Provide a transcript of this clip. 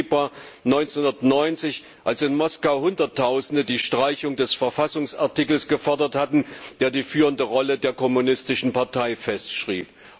4. Februar 1990, als in Moskau Hunderttausende die Streichung des Verfassungsartikels gefordert hatten, der die führende Rolle der kommunistischen Partei festschrieb.